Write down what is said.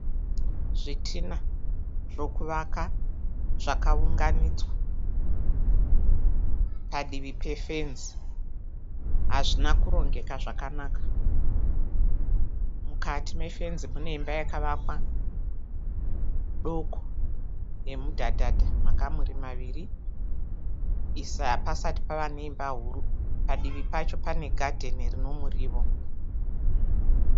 Zvitina zvokuvaka zvakaunganidzwa padivi pefenzi hazvina kurongeka zvakanaka. Mukati mefenzi mune imba yakavakwa doko nemudhadhadha makamuri maviri. Hapasati pava neimba huru. Padivi pacho pane gadheni rino murio.